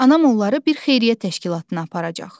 Anam onları bir xeyriyyə təşkilatına aparacaq.